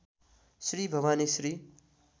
Shri Bhavani Shri